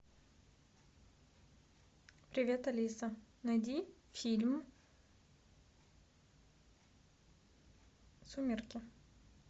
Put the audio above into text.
привет алиса найди фильм сумерки